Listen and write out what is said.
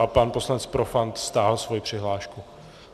A pan poslanec Profant stáhl svoji přihlášku.